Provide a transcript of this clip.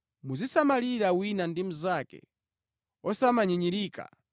Muzisamalirana wina ndi mnzake osamanyinyirika.